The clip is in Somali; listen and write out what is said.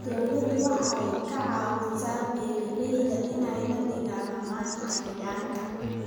Dawladdu waxay ka caawisaa beeralayda inay la dagaalamaan cayayaanka.